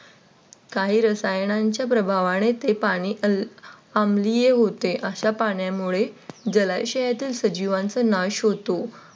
काही रसायनांच्या प्रभावाने ते पाणी अमलीय होते. अशा पाण्याने जलाशयातील सजीवांचा नाश होतो.